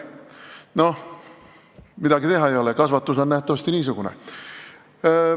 No midagi teha ei ole, kasvatus on nähtavasti niisugune.